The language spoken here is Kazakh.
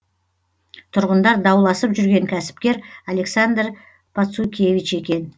тұрғындар дауласып жүрген кәсіпкер александр пацукевич екен